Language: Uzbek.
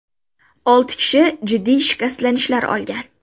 Olti kishi jiddiy shikastlanishlar olgan.